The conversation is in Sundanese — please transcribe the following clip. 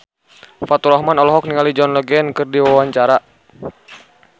Faturrahman olohok ningali John Legend keur diwawancara